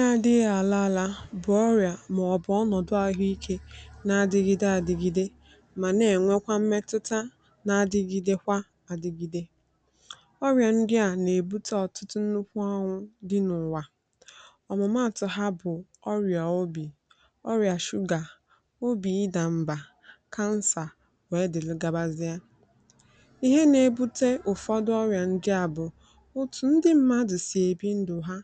na adịghị̄ àla ala bụ̀ ọrịà mà ọ̀ bụ̀ ọnọ̀dụ ahụ ikē na adigide adigigide mà nà ẹ̀nwẹkwa mmẹtụta na adigidekwa adigide ọrịà ndị à nà èbute ọ̀tụtụ nnukwu ọnwụ̄ dị n’ụ̀wa ọ̀mụ̀matụ ha bụ̀ ọrịà obì ọrịà shugà obì ị dà mbà kansà wee dị̀lụ gabazịa ihe na ebute ụ̀fọdụ ọrịà ndị à bụ̀ òtù ndị mmadū sì èbi ndù ha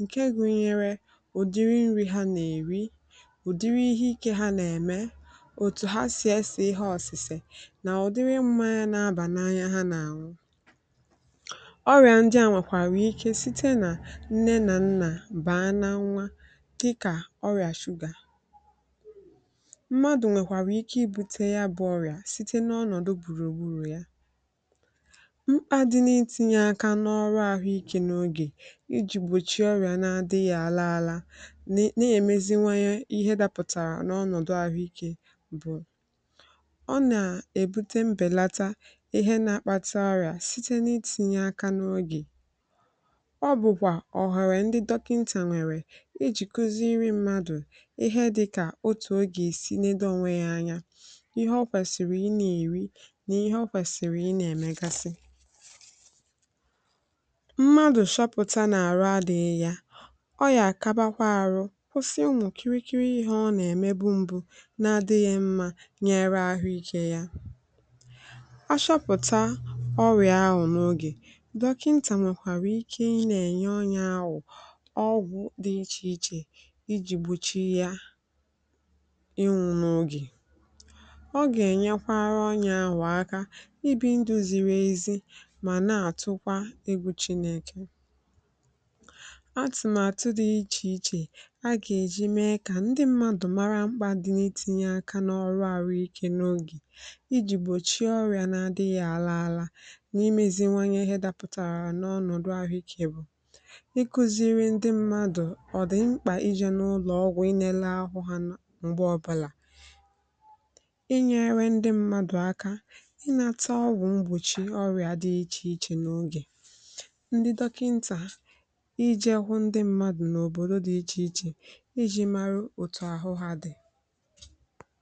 ǹke gunyẹrẹ ùdịrị nrị̄ ha nà èri ùdirī ihe ikē ha nà ẹ̀mẹ òtù ha sì ẹsẹ̀ ihe ọ̀sị̀sè nà ùdiri mmanya n’abà n;anya ọrịà ndị à nwẹ̀kwàrà ike site nà nne nà nna bàa na nwa dịkà ọrịà shugà mmadù nwẹ̀kwàrà I būte ya bụ ọrịà site n’ọnọ̀dụ gbùrù gburù ya mkpā dị n’itinye aka n’ọrụ a bụ̀ ị jē n’ogè ijì gbòchie ọrịà na-adịghị àna ana nà è meziwanye ihe dapụ̀tàrà n’ọnọ̀dụ àhụ ikē ọ nà èbute mbèlata ihe na-akpata ọrịà site nà itinye aka n’ogè ọ bụ̀kwà ọ̀hẹ̀rẹ̀ ndị dọkịntà nwẹ̀rẹ̀ ijì kuziri mmadù ihe dịkà otù o gà èsi nedo onwe ya anya ihe ọ kwẹ̀siri ị nà èri nà ihe ọ kwẹ̀sị̀rị̀ ị nà ẹ̀mẹgasị mmadù shọpụ̀ta nà àrụ adị̄ghị ya ọ yà àkabakwa arụ kwụsị ụmụ̀ kịrị kịrị ihē ọ nà ẹ̀mẹbu na-adịghị̄ mmā nyẹrẹ ahụ ikē ya ọ shọpụ̀ta ọrịà ahụ̀ n’ogè dọkịntà nwẹ̀kwàrà ike ị nà ẹ̀nyẹ onye ahụ̀ ọgwụ̄ dị ichè ichè ịjị̀ gbòchi ya ịnwụ̄ n’ogè ọ gà ẹ̀nyẹkwara onyē ahụ̀ aka ị bī ndụ̄ ziri ezi mà nà àtụkwa egwù chinēkè atụ̀màtụ dị ichè ichè a gà èji mee kà ndị mmadu mara mkpā dị n’itīnye aka n’ọrụ ahụ ike n’ogè ịjị̀ gbòchie ọrịà na adịghị̄ àla ala n’imēzinwanye ihẹ dapụ̀tàrà n’ọnọ̀dụ ahụ ikē ị kụ̄zịrị ndị mmadù ọ̀dị̀mkpa ijē n’ụlọ̀ ọgwụ̄ ị nẹnẹ ahụ ha nà m̀gbè ọbụlà ị nyẹrẹ ndị mmadù aka nnata ọgwụ̀ mgbòchi ọrịà dị ichè ichè ndị dọkịǹtà ijẹ̄ hụ ndị mmādu n’òbòdo dị ichè ichè ịjị̄ maru òtù àhụ ha dị̀